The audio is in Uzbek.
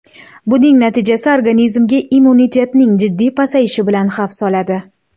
Buning natijasi organizmga immunitetning jiddiy pasayishi bilan xavf soladi.